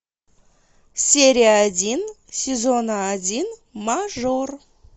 серия один сезона один мажор